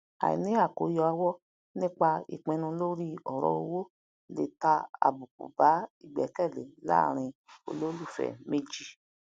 àìní àkoyawo nipa ipinu lori oro owo lé ta abuku ba ìgbẹkẹlé larin olólùfẹ méjì